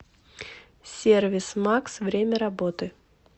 сервис макс время работы